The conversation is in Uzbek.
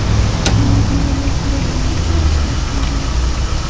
Endi bunday mas’uliyatsizlik bilan ishlab bo‘lmaydi.